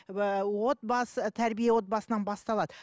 отбасы тәрбие отбасынан басталады